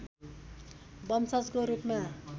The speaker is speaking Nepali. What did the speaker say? वंशजको रूपमा